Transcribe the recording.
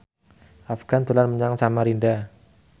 Afgan dolan menyang Samarinda